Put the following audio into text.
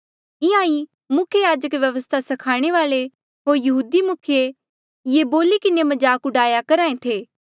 इंहां ईं मुख्य याजक व्यवस्था स्खाणे वाल्ऐ होर यहूदी मुखिये ये बोली किन्हें मजाक डूआया करहा ऐें थे